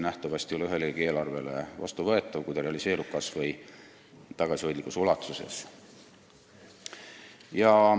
Nähtavasti ei oleks see ühegi eelarve mõttes vastuvõetav, kui eelnõu realiseeruks kas või tagasihoidlikus ulatuses.